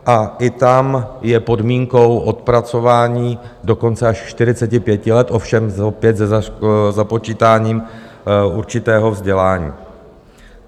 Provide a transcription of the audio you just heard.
A i tam je podmínkou odpracování dokonce až 45 let, ovšem opět se započítáním určitého vzdělání.